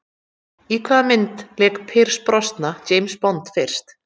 Í hvaða mynd lék Pierce Brosnan James Bond fyrst?